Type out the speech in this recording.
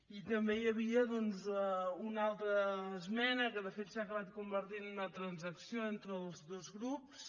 i també hi havia doncs una altra esmena que de fet s’ha acabat convertint en una transacció entre els dos grups